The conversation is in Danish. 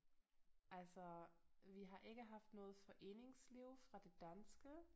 Altså vi har ikke haft noget foreningsliv fra det danske